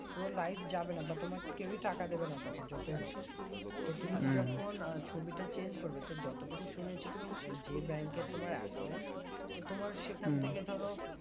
পুরো live যাবে না বা তোমার কেওই টাকা দেবে না তখন যতই হোক তো তুমি যখন আহ ছবিটা change করবে তো যতটুকু শুনেছি তুমি যে bank এর তোমার account তো তোমার সেখান থেকে ধরো